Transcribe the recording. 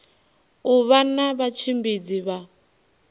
u vha na vhatshimbidzi vha